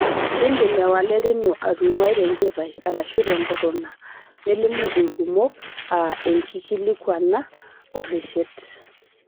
Kindim ewalet ino atunguai tenchipai arashu te nkuruna nelimu ilkumok a enkikilikwana oreshet.